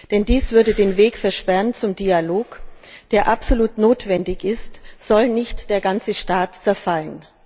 Denn dies würde den Weg versperren zum Dialog, der absolut notwendig ist, soll nicht der ganze Staat zerfallen.